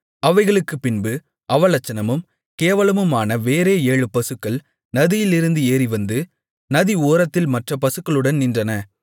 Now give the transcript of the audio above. அவைகளுக்குப்பின்பு அவலட்சணமும் கேவலமுமான வேறே ஏழு பசுக்கள் நதியிலிருந்து ஏறிவந்து நதி ஓரத்தில் மற்ற பசுக்களுடன் நின்றன